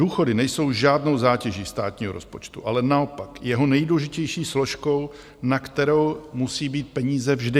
Důchody nejsou žádnou zátěží státního rozpočtu, ale naopak jeho nejdůležitější složkou, na kterou musí být peníze vždy.